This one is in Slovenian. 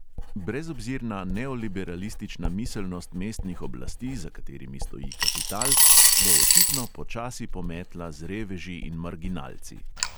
Brezobzirna neoliberalistična miselnost mestnih oblasti, za katerimi stoji kapital, bo očitno počasi pometla z reveži in marginalci.